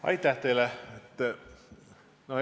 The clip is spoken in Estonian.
Aitäh teile!